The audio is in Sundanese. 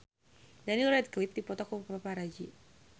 Daniel Radcliffe dipoto ku paparazi